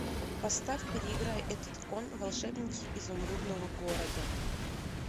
поставь переиграй этот кон волшебники изумрудного города